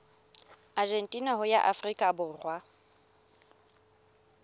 argentina ho ya afrika borwa